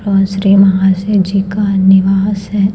आसरे महाशय जी का निवास है।